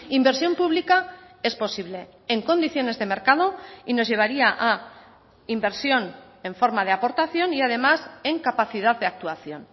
inversión pública es posible en condiciones de mercado y nos llevaría a inversión en forma de aportación y además en capacidad de actuación